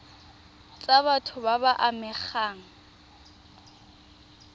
tsa batho ba ba amegang